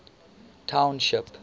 township